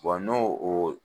n'o o